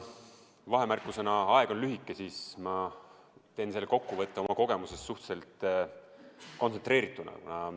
Vahemärkusena ütlen, et kuna aeg on lühike, siis ma teen kokkuvõtte oma kogemusest suhteliselt kontsentreeritult.